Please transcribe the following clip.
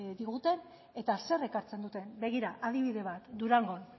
gaituzten eta zer ekartzen duten begira adibide bat durangon